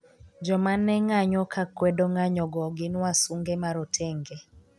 joma ne ng'anyo kakwedo ng'anyo go gin wasunge marotenge